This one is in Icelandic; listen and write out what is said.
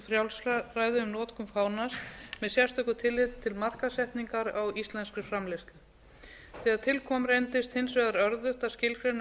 frjálsræði um notkun fánans með sérstöku tilliti til markaðssetningar á íslenskri framleiðslu þegar til kom reyndist hins vegar örðugt að skilgreina hlutlægar